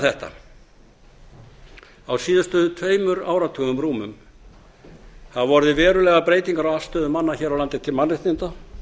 þetta á síðustu tveimur áratugum rúmum hafa orðið verulegar breytingar á afstöðu manna hér á landi til mannréttinda